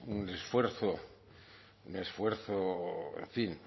un esfuerzo un esfuerzo en fin